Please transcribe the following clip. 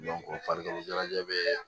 farikolo ɲɛnajɛ bɛ